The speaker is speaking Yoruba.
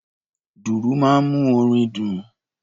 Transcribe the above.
Dùrù máa ń mú orin dùn.